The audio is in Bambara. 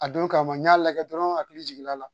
A don kama n y'a lajɛ dɔrɔn n hakili jiginna a la